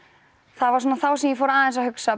það var svona þá sem ég fór aðeins að hugsa